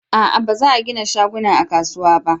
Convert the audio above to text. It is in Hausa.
a'a ba za a gina shaguna a kasuwa ba